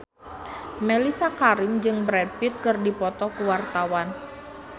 Mellisa Karim jeung Brad Pitt keur dipoto ku wartawan